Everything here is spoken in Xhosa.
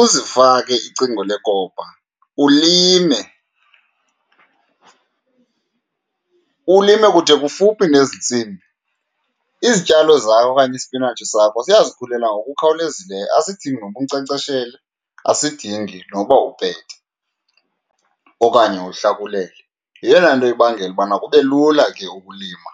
uzifake icingo lekopa, ulime, ulime kude kufuphi nezi ntsimbi, izityalo zakho okanye isipinatshi sakho ziyazikhulela ngokukhawulezileyo. Asidingi noba unkcenkceshele, asidingi noba upete okanye uhlakulele. Yeyona nto ibangela ubana kube lula ke ukulima.